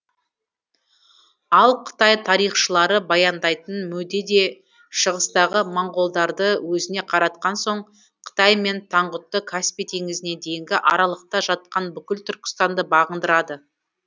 ал қытай тарихшылары баяндайтын мөде де шығыстағы моңғолдарды өзіне қаратқан соң қытай мен таңғұтты каспий теңізіне дейінгі аралықта жатқан бүкіл түркістанды бағындырады